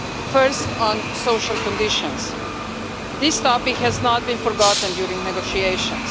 First, on social conditions, this topic has not been forgotten during negotiations.